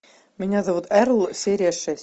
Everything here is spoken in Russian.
меня зовут эрл серия шесть